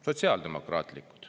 Sotsiaaldemokraatlikud.